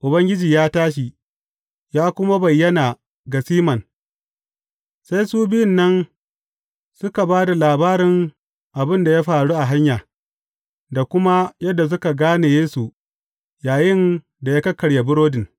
Ubangiji ya tashi, ya kuma bayyana ga Siman Sai su biyun nan suka ba da labarin abin da ya faru a hanya, da kuma yadda suka gane Yesu yayinda ya kakkarya burodin.